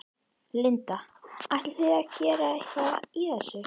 Linda: Ætlið þið að gera eitthvað í þessu?